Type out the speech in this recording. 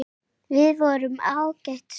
Við vorum ágæt saman.